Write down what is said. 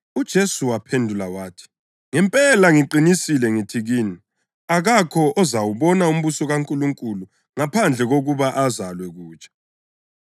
UJesu waphendula wathi, “Ngempela ngiqinisile ngithi kini, akakho ozawubona umbuso kaNkulunkulu ngaphandle kokuba azalwe kutsha.”